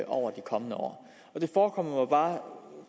over de kommende år der forekommer mig bare